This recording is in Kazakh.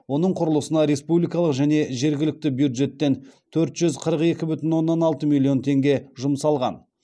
оның құрылысына республикалық және жергілікті бюджеттен төрт жүз қырық екі бүтін оннан алты миллион теңге жұмсалған